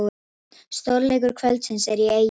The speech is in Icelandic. Stórleikur kvöldsins er í Eyjum